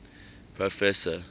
proffesor